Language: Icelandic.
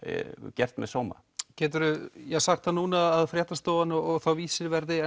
gert með sóma getur þú sagt núna að fréttastofan og Vísir verði